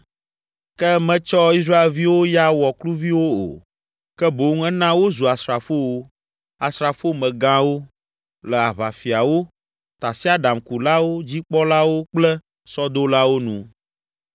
Ke metsɔ Israelviwo ya wɔ kluviwo o, ke boŋ ena wozu asrafowo, asrafomegãwo, le aʋafiawo, tasiaɖamkulawo dzikpɔlawo kple sɔdolawo nu;